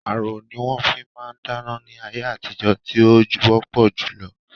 Ààrò ní wọn fi máa ń dáná ní ayé àtijó tí ó wọpọ julọ